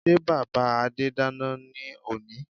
Sé bàbá Adé dáná ní òní?